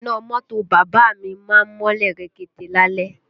Iná mọ́tò bàbá à mi má ń mọ́lẹ̀ rekete lálẹ́